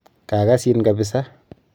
Kagasin kabisaa.